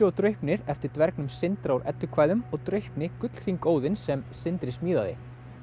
og Draupnir eftir dvergnum Sindra úr eddukvæðum og Draupni gullhring Óðins sem Sindri smíðaði